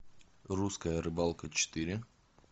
русская рыбалка четыре